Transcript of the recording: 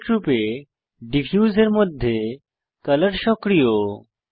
ডিফল্টরূপে ডিফিউজ এর মধ্যে কলর সক্রিয়